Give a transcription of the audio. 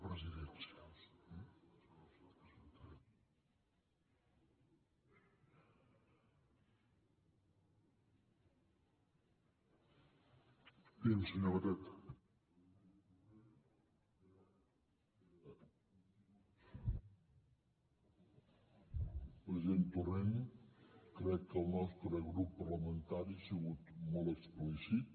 president torrent crec que el nostre grup parlamentari ha sigut molt explícit